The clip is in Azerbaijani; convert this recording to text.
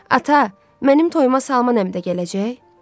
Ata, mənim toyuna Salman əmi də gələcək?